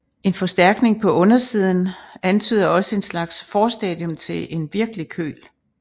En forstærkning på undersiden antyder også et slags forstadium til en virkelig køl